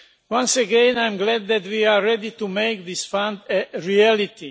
Once again, I am glad that we are ready to make this Fund a reality.